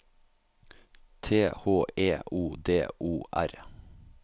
T H E O D O R